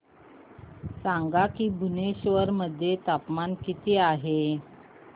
सांगा की भुवनेश्वर मध्ये तापमान किती आहे